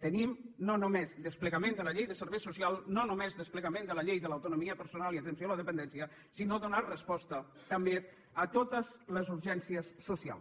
tenim no només desplegament de la llei de serveis socials no només desplegament de la llei de l’autonomia personal i atenció a la dependència sinó donar resposta també a totes les urgències socials